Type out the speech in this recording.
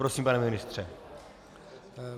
Prosím, pane ministře.